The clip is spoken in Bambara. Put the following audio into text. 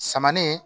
Samanin